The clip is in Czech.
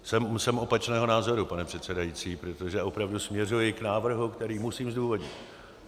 Jsem opačného názoru, pane předsedající, protože opravdu směřuji k návrhu, který musím zdůvodnit.